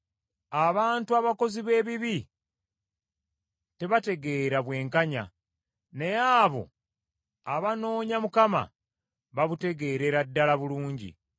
Abantu abakozi b’ebibi tebategeera bwenkanya, naye abo abanoonya Mukama babutegeerera ddala bulungi.